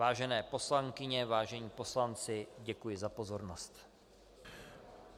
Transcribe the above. Vážené poslankyně, vážení poslanci, děkuji za pozornost.